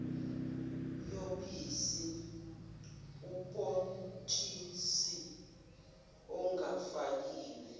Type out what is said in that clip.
yobisi ubhontshisi ongafakiwe